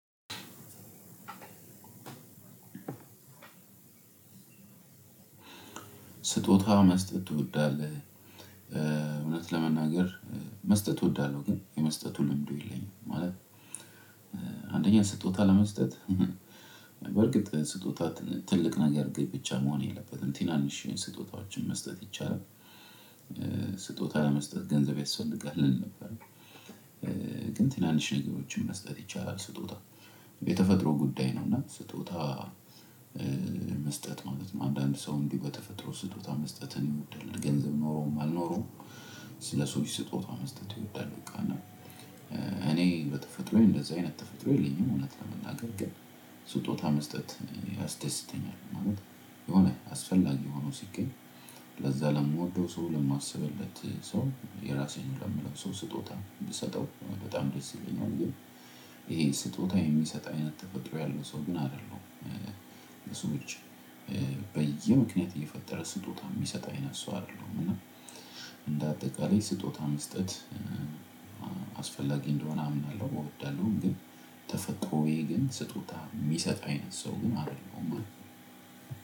ስጦታ መስጠት ትወዳለህ እውነት ለመናገር መስጠት ትወዳለሁ ግን የመስጠቱን ልምዱ የለኝም። ማለት አንደኛ ስጦታ ለመስጠት በርግጥ ስጦታ ትልቅ ነገር ግን ብቻ መሆን የለበትም ትናንሽ ስጦታዎችን መስጠት ይቻላል። ስጦታ መስጠት ገንዘብ ያስፈልጋል እል ነበር። ግን ትናንሽ ነገሮችን መስጠት ይቻላል። ስጦታ የተፈጥሮ ጉዳይ ነው። እና ስጦታ መስጠት ማለት ነው አንዳንድ ሰው እንዲህ በተፈጥሮ ስጦታ መስጠትን ይወዳል ገንዘብ ኖሮም አልኖረውም። ስለ ሰዎች ስጦታ መስጠት ይወዳል ቃና እኔ በተፈጥሮዬ እንደዛ አይነት ተፈጥሮ የለኝም። እውነት ለመናገር ግን ስጦታ መስጠት እኔ ያስደስ ይተኛል። ማለት የሆነ አስፈላጊ ሆኖ ሲገኝ ለዛ ለምወደው ሰው ለማስብለት ሰው የራሴ ለምለው ሰው ስጦታ የምሰጠው በጣም ደስ ይለኛል። ግን ይሄ ስጦታ የሚሰጥ አይነት ተፈጥሮ ያለው ሰው ምን አይደለሁም። ሰዎች በየምክንያት እየፈጠረ ስጦታ የሚሰጥ አይነት ሰው አይደለሁም። እና እንደ አጠቃላይ ስጦታ መስጠት አስፈላጊ እንደሆነ አምናለሁ እወዳለሁ። ግን ተፈጥሮዬ ግን ስጦታ የሚሰጥ አይነት ሰው ግን አይደለሁም።